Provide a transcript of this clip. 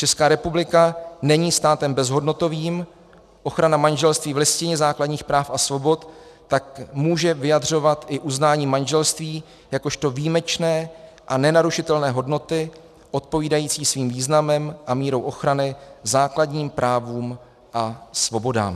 Česká republika není státem bezhodnotovým, ochrana manželství v Listině základních práv a svobod tak může vyjadřovat i uznání manželství jakožto výjimečné a nenarušitelné hodnoty odpovídající svým významem a mírou ochrany základních právům a svobodám.